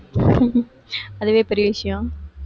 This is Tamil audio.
அதுவே பெரிய விஷயம்.